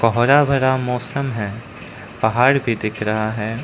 हरा भरा मौसम है। पहाड़ भी दिख रहा है।